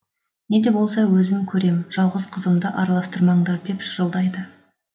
неде болса өзім көрем жалғыз қызымды араластырмаңдар деп шырылдайды